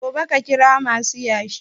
Gobe ka kira masu yashi